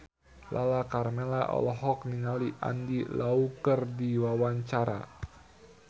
Lala Karmela olohok ningali Andy Lau keur diwawancara